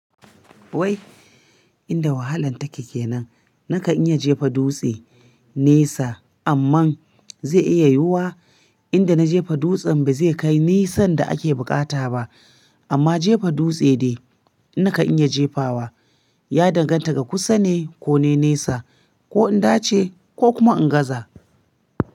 Inda wahalan take kenan, naka in iya jefa dutse nesa, amma zai iya yiwuwa inda na jefa dutsen ba zai kai nisan da ake bukata ba. Amma jefa dutse ne naka in iya jefawa, ya danganta ga kusa ne ko ne nesa, ko in dace ko kuma in gaza.